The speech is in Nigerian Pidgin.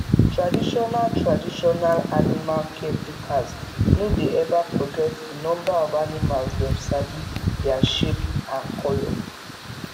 traditional traditional animal caretakers no dey ever forget the number of animalsdem sabi their shape and color